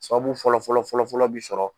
Sababu fɔlɔfɔlɔ fɔlɔfɔlɔ bi sɔrɔ.